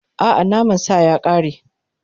A'a, naman sa ya ƙare.